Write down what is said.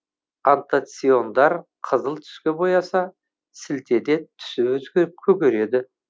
антоциандар қызыл түске бояса сілтіде түсі өзгеріп көгереді